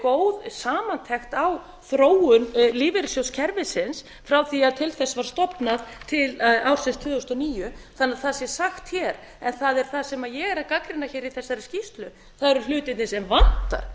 góð samantekt á þróun lífeyrissjóðakerfisins frá því að til þess var stofnað til ársins tvö þúsund og níu þannig að það sé sagt hér en það sem ég er að gagnrýna í þessari skýrslu eru hlutirnir sem vantar